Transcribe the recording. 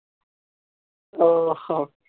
ও হো